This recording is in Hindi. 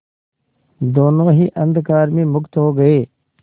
दोेनों ही अंधकार में मुक्त हो गए